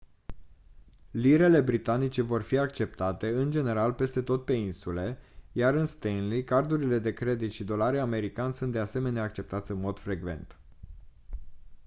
lirele britanice vor fi acceptate în general peste tot pe insule iar în stanley cardurile de credit și dolarii americani sunt de asemenea acceptați în mod frecvent